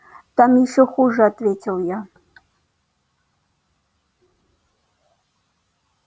там ещё хуже ответил я